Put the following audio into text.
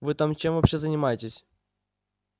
вы там чем вообще занимаетесь